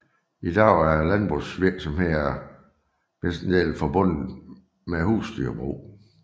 I dag er landbrugsvirksomheder hovedsageligt forbundet med husdyrbrug